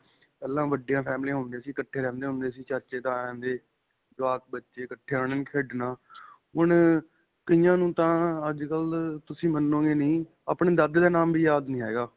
ਪਹਿਲਾਂ ਵੱਡੀਆਂ ਫ਼ੈਮਲਿਆਂ ਹੁੰਦਿਆ ਸੀ, ਇੱਕਠੇ ਰਹਿੰਦੇ ਹੁੰਦੇ ਸੀ, ਚਾਚੇ-ਤਾਇਆਂ ਦੇ ਜਵਾਕ ਬੱਚੇ ਇੱਕਠੇ ਨੇ ਖੇਡਣਾ. ਹੁਣ ਕਇਆਂ ਨੂੰ ਤਾਂ ਅੱਜਕਲ੍ਹ ਤੁਸੀਂ ਮੰਨੋਗੇ ਨਹੀਂ ਆਪਣੇ ਦਾਦੇ ਦਾ ਨਾਮ ਵੀ ਯਾਦ ਨਹੀਂ ਹੈਗਾ.